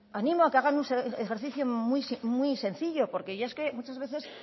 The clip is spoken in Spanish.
animo a que hagan un ejercicio muy sencillo porque es que muchas veces